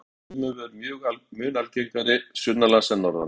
á íslandi eru þrumuveður mun algengari sunnanlands en norðan